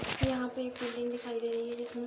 यहाँ पे एक फिलिंग दिखाई दे रही है जिसमें --